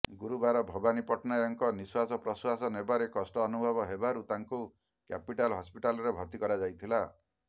ଗୁରୁବାର ଭବାନୀ ପଟ୍ଟନାୟକଙ୍କ ନିଶ୍ୱାସ ପ୍ରଶ୍ୱାସ ନେବାରେ କଷ୍ଟ ଅନୁଭବ ହେବାରୁ ତାଙ୍କୁ କ୍ୟାପିଟାଲ ହସ୍ପିଟାଲରେ ଭର୍ତ୍ତି କରାଯାଇଥିଲା